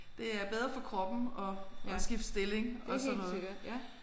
Det er bedre for kroppen at at skifte stilling og sådan noget